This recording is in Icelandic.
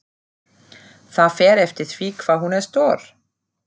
Það fer eftir því hvað hún er stór.